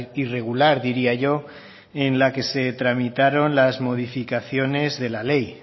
irregular diría yo en la que se tramitaron las modificaciones de la ley